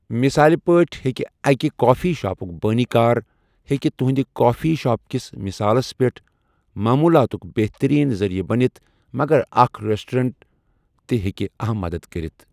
مثال پٲٹھۍ، بیٚکہِ اکہِ کافی شاپُک بٲنی کار ہٮ۪کہِ تُہنٛدِ کافی شاپ کِس مثالَس منٛز معلوٗماتُک بہتٔریٖن ذٔریعہٕ بٔنِتھ، مگر اکھ ریسٹوریٹر تہِ ہٮ۪کہِ اَہَم مدد کٔرِتھ۔